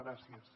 gràcies